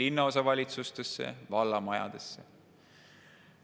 linnaosavalitsustesse ja vallamajadesse.